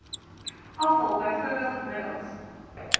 afval bv middels